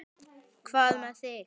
Hvað með þig?